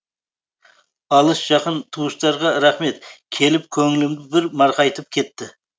алыс жақын туыстарға рахмет келіп көңілімді бір марқайтып кетті